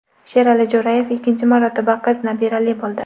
Sherali Jo‘rayev ikkinchi marotaba qiz nabirali bo‘ldi.